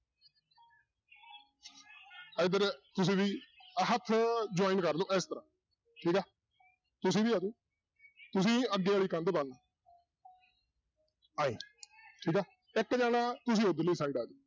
ਇੱਧਰ ਤੁਸੀਂ ਵੀ ਹੱਥ join ਕਰ ਲਓ ਇਸ ਤਰ੍ਹਾਂ ਤੁਸੀਂ ਵੀ ਆ ਜਾਓ ਤੁਸੀਂ ਅੱਗੇ ਵਾਲੀ ਕੰਧ ਬਣਨਾ ਆਏਂ ਠੀਕ ਹੈ ਇੱਕ ਜਾਣਾ ਤੁਸੀਂ ਉੱਧਰਲੀ side ਆ ਜਾਓ